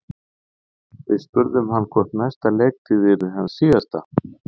Við spurðum hann hvort næsta leiktíð yrði hans síðasta?